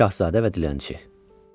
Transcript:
Şahzadə və Dilənçi.